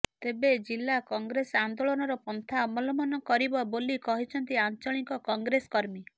ତେବେ ଜିଲ୍ଲା କଂଗ୍ରେସ ଆନ୍ଦୋଳନର ପନ୍ଥା ଅବଲମ୍ବନ କରିବ ବୋଲି କହିଛନ୍ତି ଆଞ୍ଚଳିକ କଂଗ୍ରେସ କର୍ମୀ